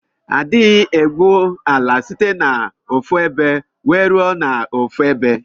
Adighi ebu ala site na ofu ebe wee rue na ofuebe.